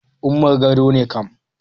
Umar Gago ne kam.